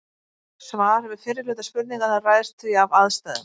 Svarið við fyrri hluta spurningarinnar ræðst því af aðstæðum.